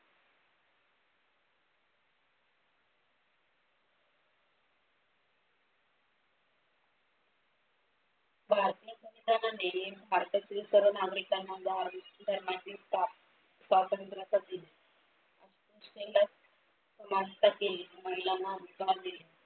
भारतीय संस्थानाने भारतातील सर्व नागरिकांना धार्मिक धर्माची स्वतंत्रता दिली. समानता दिली. महिलांना विश्वास दिला.